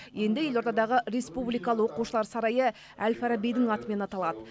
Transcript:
енді елордадағы республикалық оқушылар сарайы әл фарабидің атымен аталады